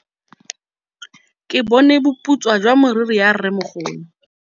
Ke bone boputswa jwa meriri ya rrêmogolo.